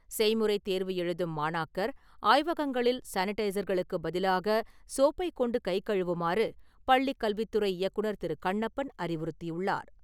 செய்முறை தேர்வு எழுதும் மாணாக்கர், ஆய்வகங்களில் சானிடைஸர்களுக்கு பதிலாக சோப்பை கொண்டு கை கழுவுமாறு, பள்ளிக்கல்வித்துறை இயக்குநர் திரு. கண்ணப்பன் அறிவுறுத்தியுள்ளார்.